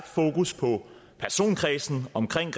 fokus på personkredsen omkring